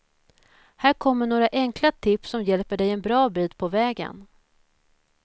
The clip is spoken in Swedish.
Här kommer några enkla tips som hjälper dig en bra bit på vägen.